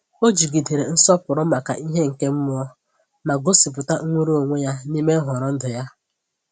Ọ jigidere nsọpụrụ maka ihe nke mmụọ, ma gosipụta nnwere onwe ya n’ime nhọrọ ndụ ya.